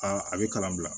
a bɛ kalan bila